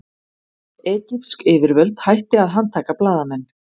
Egypsk yfirvöld hætti að handtaka blaðamenn